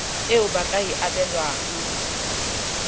eo ba ka e abelwang